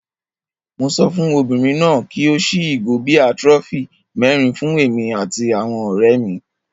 Mo sọ fún obìnrin náà kí ó ṣí ìgò bíà trophy mẹ́rin fún èmi àti àwọn ọ̀rẹ́ mi.